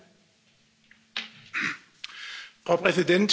Frau Präsidentin, Herr Kommissar, meine Damen und Herren!